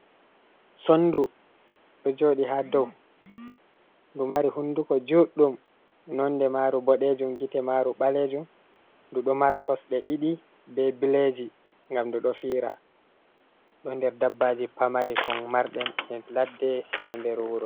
Sondu ɗo jooɗi ha dou, ndu mari hunduko juɗdum nonde maru bodejum gite maru ɓalejum, ndu ɗo mara kosɗe ɗiɗi be billeji ngam ndu ɗo fiira, ɗo nder dabbaji pamari ko marɗen e ladde e nder wuro.